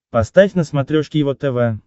поставь на смотрешке его тв